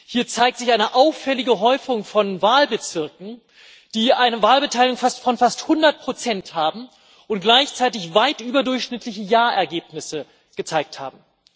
Hier zeigt sich eine auffällige Häufung von Wahlbezirken, die eine Wahlbeteiligung von fast 100 Prozent haben und gleichzeitig weit überdurchschnittliche Ja Ergebnisse gezeigt haben.